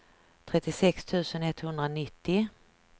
trettiosex tusen etthundranittio